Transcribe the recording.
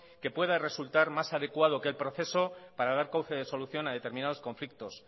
que pueda resultar más adecuado que el proceso para dar solución a determinados conflictos